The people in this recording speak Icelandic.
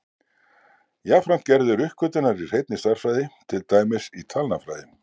Jafnframt gerðu þeir uppgötvanir í hreinni stærðfræði, til dæmis í talnafræði.